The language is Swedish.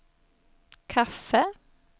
kaffe